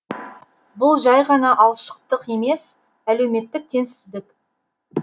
бұл жәй ғана алшақтық емес әлеуметтік теңсіздік